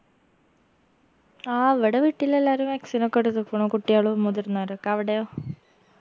ആ ഇവ്‌ട വീട്ടിലെല്ലാരും vaccine ഒക്കെ എടുക്കക്ക്ണു കുട്ടിയാളും മുതിർന്നവരൊക്കെ അവിടെയോ